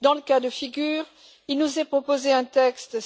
Dans ce cas de figure, il nous est proposé un texte